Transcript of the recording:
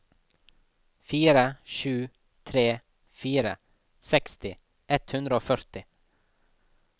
fire sju tre fire seksti ett hundre og førti